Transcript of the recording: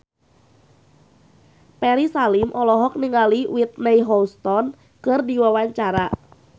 Ferry Salim olohok ningali Whitney Houston keur diwawancara